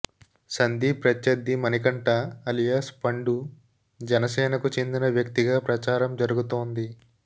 సందీప్ ప్రత్యర్థి మణికంఠ అలియాస్ పండు జనసేనకు చెందిన వ్యక్తిగా ప్రచారం జరుగుతోంది